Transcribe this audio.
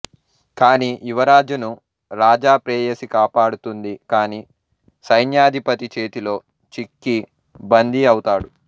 కానీ యువరాజును రాజా ప్రేయసి కాపాడుతుంది కానీ సైన్యాధిపతి చేతిలో చిక్కి బంధీ అవుతాడు